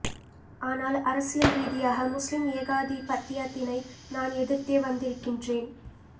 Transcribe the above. ஆனால் அரசியல் ரீதியாக முஸ்லிம் ஏகாதிபத்தியத்தினை நான் எதிர்த்தே வந்திருக்கின்றேன்